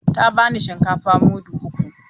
Ta bani shinkafa mudu uku.